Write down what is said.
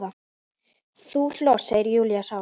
Þú hlóst, segir Júlía sár.